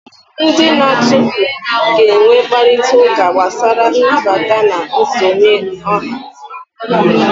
Ndị na-achụpụ ga-enwe mkparịta ụka gbasara nnabata na nsonye ọha